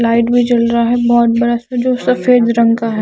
Light भी जल रहा है बोहोत बड़ा जो सफ़ेद रंग का है ।